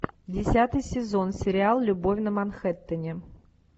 десятый сезон сериал любовь на манхэттене